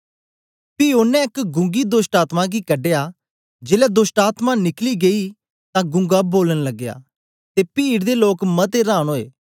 पी ओनें एक गूंगी दोष्टआत्मा गी कढया जेलै दोष्टआत्मा निकली गेई तां गूंगा बोलन लगया ते पीड दे लोक मते रांन ओए